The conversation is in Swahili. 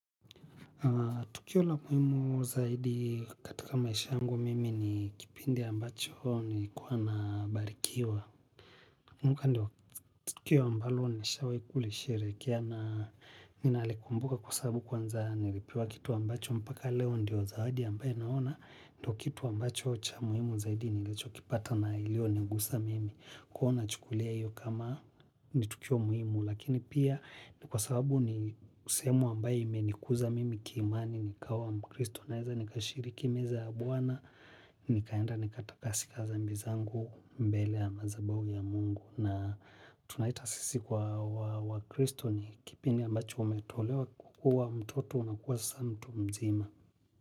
Tukio la muhimu zaidi katika maisha yangu mimi ni kipindi ambacho nilikuwa nabarikiwa nakumbuka ndio tukio ambalo nishawai kulisheherekea na ninalikumbuka kwa sababu kwanza nilipiwa kitu ambacho mpaka leo ndio zawadi ambaye naona. Ndio kitu ambacho cha muhimu zaidi ni licho kipata na ilio nigusa mimi kuona chukulia iyo kama ni tukio muhimu. Lakini pia ni kwa sababu ni sehemu ambaye imenikuza mimi kiimani ni kawa mkristo naeza ni kashiriki meza ya bwana. Ni kaenda ni katakasika dhambi zangu mbele ya madhabahu ya mungu. Na tunaita sisi kwa wakristo ni kipindi ambacho umetolewa kukua mtoto unakuwa sasa mtu mzima.